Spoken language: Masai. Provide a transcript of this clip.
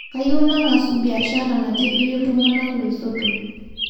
Kayieu nangasu beashara natibiri ltungana laisotok